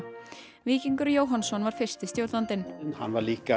Víkingur Jóhannsson var fyrsti stjórnandinn hann var líka